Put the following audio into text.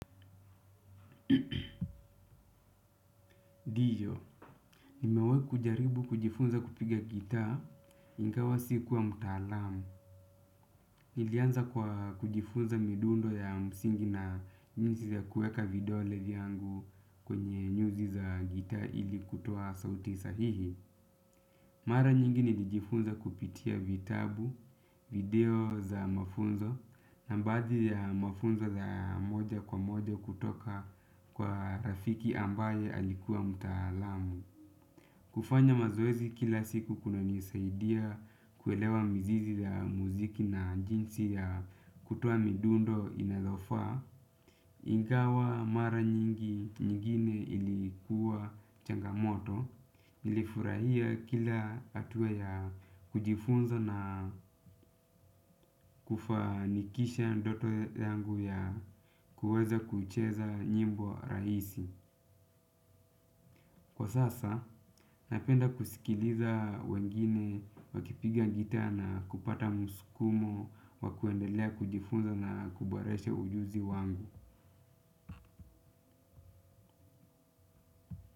Ndio, nimewahi kujaribu kujifunza kupiga gitaa, ingawa sikuwa mtaalamu. Nilianza kwa kujifunza midundo ya msingi na jinsi ya kuweka vidole vyangu kwenye nyuzi za gitaa ili kutoa sauti sahihi. Mara nyingi nilijifunza kupitia vitabu, video za mafunzo na baadhi ya mafunzo za moja kwa moja kutoka kwa rafiki ambaye alikuwa mtaalamu. Kufanya mazoezi kila siku kunanisaidia kuelewa mizizi ya muziki na jinsi ya kutoa midundo inalofaa, ingawa mara nyingi nyingine ilikuwa changamoto. Nilifurahia kila hatua ya kujifunza na kufanikisha ndoto yangu ya kuweza kucheza nyimbo rahisi. Kwa sasa napenda kusikiliza wengine wakipiga gitaa na kupata msukumo wa kuendelea kujifunza na kuboresha ujuzi wangu.